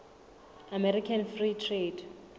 american free trade